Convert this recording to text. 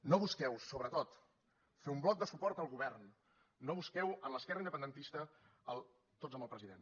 no busqueu sobretot fer un bloc de suport al govern no bus queu en l’esquerra independentista el tots amb el president